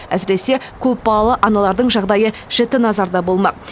әсіресе көпбалалы аналардың жағдайы жіті назарда болмақ